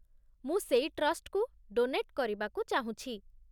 ମୁଁ ସେଇ ଟ୍ରଷ୍ଟକୁ ଡୋନେଟ୍ କରିବାକୁ ଚାହୁଁଛି ।